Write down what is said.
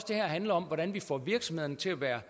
det her handler om hvordan vi får virksomhederne til at være